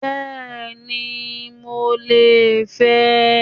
Bẹ́ẹ̀ni mo lè fẹ́ ẹ